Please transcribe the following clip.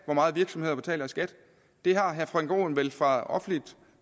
meget virksomheder betaler i skat det har herre frank aaen vel fra offentligt